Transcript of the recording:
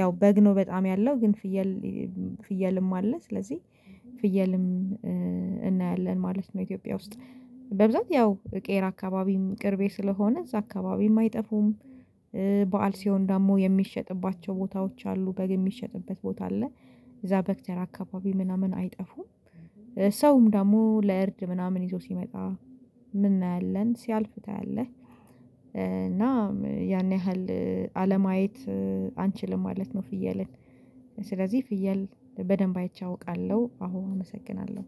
ያው በግ ነው በጣም ያለው ግን ፍየል ፍየልም አለ ስለዚህ ፍየልም እናያለን ማለት ነው። ኢትዮጵያ ውስጥ በብዛት ያው ቄራ አካባቢም ቅርቤ ስለሆነ እዛ አካባቢ የማይጠፉም በዓል ሲሆን ደግሞ የሚሸጥባቸው ቦታዎች አሉ። በግ የሚሸጥበት ቦታ አለ። እዛ በግተራ አካባቢ ምናምን አይጠፉም። ሰውም ደግሞ ለእርድ ምናምን ይዞ ሲመጣ ምን እናያለን ሲያልፍ ታያለህ? እና ያን ያህል አለማየት አንችልም ማለት ነው። ፍየልን ስለዚህ ፍየል በደንብ አይቼ አውቃለሁ። አሁን አመሰግናለሁ።